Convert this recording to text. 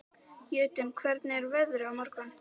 Jötunn, hvernig er veðrið á morgun?